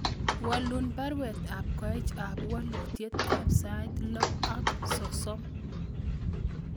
Walun baruet ab Koech ak walutyet ab sait loo ak sosom